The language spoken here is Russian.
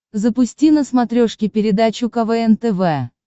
запусти на смотрешке передачу квн тв